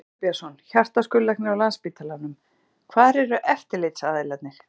Tómas Guðbjartsson, hjartaskurðlæknir á Landspítalanum: Hvar eru eftirlitsaðilarnir?